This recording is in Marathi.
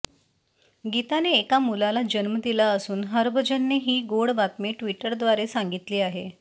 गीताने एका मुलाला जन्म दिला असून हरभजनने ही गोड बातमी ट्विटरद्वारे सांगितली आहे